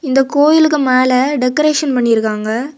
இந்த கோயிலுக்கு மேல டெக்கரேஷன் பண்ணி இருக்காங்க.